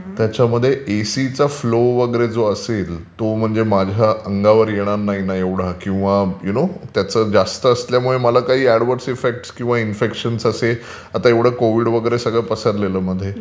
त्याच्यामध्ये एसिचा फ्लो वगैरे जो असेल तो म्हणजे माझ्या अंगावर येणार नाही ना एवढा किंवा यू नो त्याचा फ्लो जास्त असल्यामुळे मला काही अडवर्ट इफेक्ट किंवा इन्फेक्शन असे किंवा आता सगळं कोविड वगैरे पसरलेलं मध्ये...